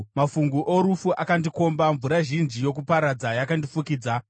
“Mafungu orufu akandikomba; mvura zhinji yokuparadza yakandifukidza.